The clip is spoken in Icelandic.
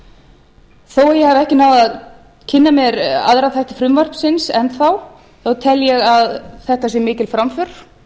ekki náð að kynna mér aðra þætti frumvarpsins enn þá tel ég að þetta sé mikil framför